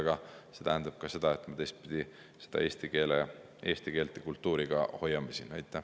Aga see tähendab teistpidi ka seda, et me eesti keelt ja kultuuri siin hoiame.